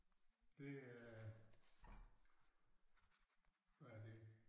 Det er hvad er det